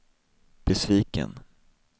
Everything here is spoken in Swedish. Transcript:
besviken